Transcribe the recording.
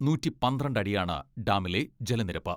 നൂറ്റി പന്ത്രണ്ട് അടിയാണ് ഡാമിലെ ജലനിരപ്പ്.